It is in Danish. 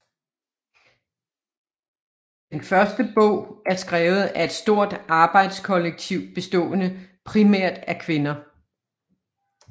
Den første bogen er skrevet af et stort arbejdskollektiv bestående primært af kvinder